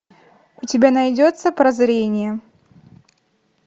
у тебя найдется прозрение